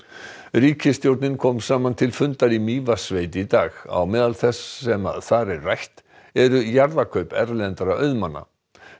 ríkisstjórnin kom saman til fundar í Mývatnssveit í dag á meðal þess sem þar er rætt eru jarðakaup erlendra auðmanna